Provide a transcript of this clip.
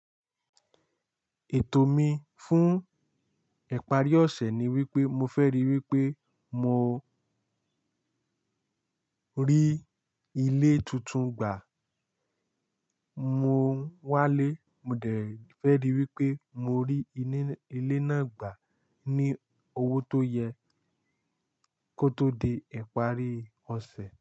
Ètò mi fún ìparí ọ̀sẹ̀ ni wípé mo fẹ́ rí wípé mo rí ilé tuntun gbà. Mo wálé, mo dẹ̀ fẹ́ rí wípé mo rí ilé náà gbà ní owó tó yẹ kó tó di ìparí ọ̀sẹ̀.